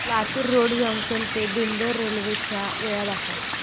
Latur road junction ते Bidar railway च्या वेळा दाखव